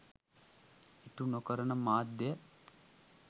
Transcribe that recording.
ඉටු නොකරන මාධ්‍ය